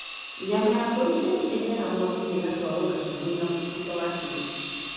Nyama ya mbũri kaingĩ ĩhĩaga mwaki-inĩ ĩgatwarwo na cumbĩ na mũbuto wa chili.